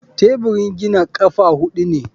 Teburin gina ƙafa huɗu ne.